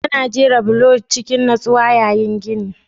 Ana jera bulo cikin nutsuwa yayin gini